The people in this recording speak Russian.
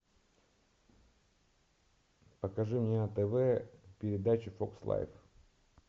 покажи мне на тв передачу фокс лайф